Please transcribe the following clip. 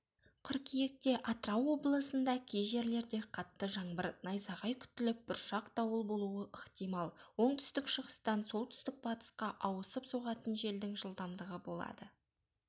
қыркүйекте атырау облысында кей жерлерде қатты жаңбыр найзағай күтіліп бұршақ дауыл болуы ықтимал оңтүстік-шығыстан солтүстік-батысқа ауысып соғатын желдің жылдамдығы болады